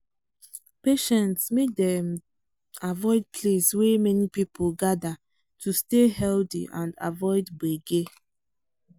patients make dem avoid place wey many people people gather to stay healthy and avoid gbege.